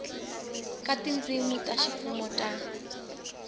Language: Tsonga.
ka tindzimi ta ximfumo ta